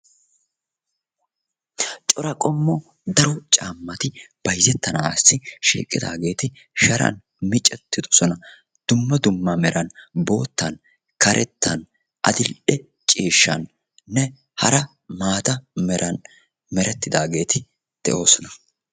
Cora qommo daro caammati bayizettanaassi shiiqidaageeti sharan micettidosona. Dumma dumma meran boottan, karettan, adil'e ciishshaninne hara maata meran merettidaageeti de'oosona.